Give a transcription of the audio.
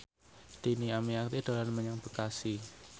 Dhini Aminarti dolan menyang Bekasi